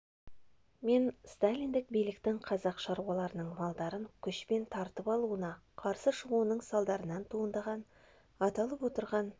мен сталиндік биліктің қазақ шаруаларының малдарын күшпен тартып алуына қарсы шығуының салдарынан туындаған аталып отырған